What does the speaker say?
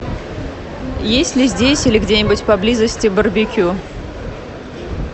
есть ли здесь или где нибудь поблизости барбекю